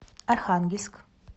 архангельск